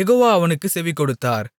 யெகோவா அவனுக்குச் செவிகொடுத்தார்